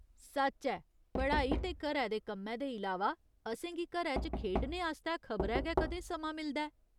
सच्च ऐ, पढ़ाई ते घरै दे कम्मै दे इलावा असेंगी घरै च खेढने आस्तै खबरै गै कदें समां मिलदा ऐ।